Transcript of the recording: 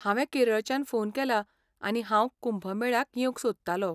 हांवें केरळच्यान फोन केला आनी हांव कुंभ मेळ्याक येवंक सोदतालों.